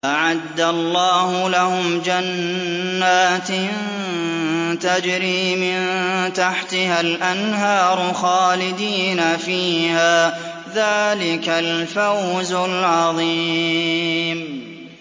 أَعَدَّ اللَّهُ لَهُمْ جَنَّاتٍ تَجْرِي مِن تَحْتِهَا الْأَنْهَارُ خَالِدِينَ فِيهَا ۚ ذَٰلِكَ الْفَوْزُ الْعَظِيمُ